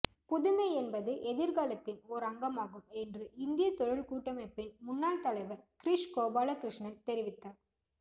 புதுமை என்பது எதிர்காலத்தின் ஓர் அங்கமாகும் என்று இந்திய தொழில் கூட்டமைப்பின் முன்னாள் தலைவர் கிரிஷ் கோபாலகிருஷ்ணன் தெரிவித்தார்